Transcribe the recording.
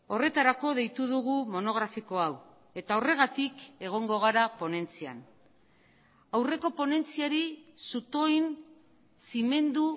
horretarako deitu dugu monografiko hau eta horregatik egongo gara ponentzian aurreko ponentziari zutoin zimendu